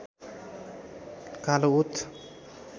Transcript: कालो ओत